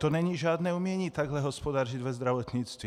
To není žádné umění takhle hospodařit ve zdravotnictví.